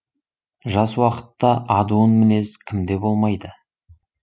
жас уақытта адуын мінез кімде болмайды